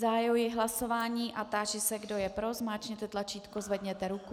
Zahajuji hlasování a táži se, kdo je pro, zmáčkněte tlačítko, zvedněte ruku.